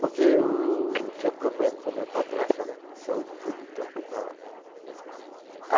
Porque eu tinha um problema com o meu padrasto, né, saúde, então foi para lá.